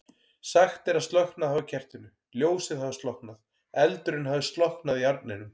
Sagt er að slokknað hafi á kertinu, ljósið hafi slokknað, eldurinn hafi slokknað í arninum.